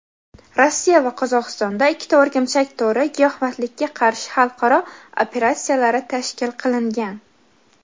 Rossiya va Qozog‘istonda ikkita "O‘rgimchak to‘ri" giyohvandlikka qarshi xalqaro operatsiyalari tashkil qilingan.